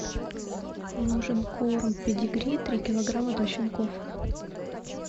нужен корм педигри три килограмма для щенков